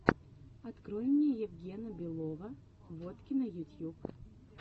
открой мне евгена белова воткино ютьюб